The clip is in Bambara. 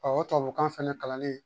o tubabukan fɛnɛ kalannen